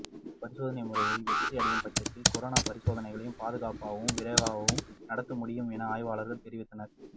இப்பரிசோதனை முறைகள் வெற்றியடையும் பட்சத்தில் கொரோனா பரிசோதனைகளை பாதுகாப்பாகவும் விரைவாகவும் நடத்த முடியும் என ஆய்வாளர்கள் தெரிவித்தனர்